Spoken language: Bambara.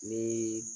Ni